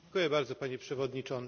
Panie Przewodniczący!